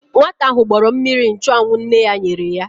Nwata ahụ gbọrọ mmiri nchụanwụ nne ya nyere ya.